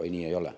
Ei, nii ei ole.